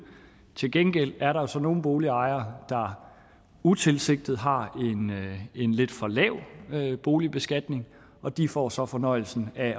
til gengæld er der så nogle boligejere der utilsigtet har en lidt for lav boligbeskatning og de får så fornøjelsen af